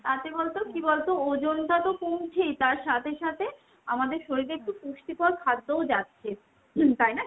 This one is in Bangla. তাতে বলতো কি বলতো ওজনটা তো কমছেই, তার সাথে সাথে আমাদের শরীরে একটু পুষ্টিকর খাদ্যও যাচ্ছে। তাইনা ?